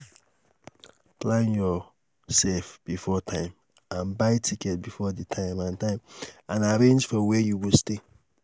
plan yourself before time and buy tickets before di time and time and arrange for where you go stay